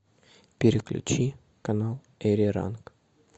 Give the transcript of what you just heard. переключи канал эриранг